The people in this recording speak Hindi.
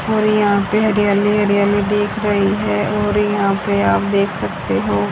और यहां पे हरियाली हरियाली दिख रही है और यहां ले आप देख सकते हो।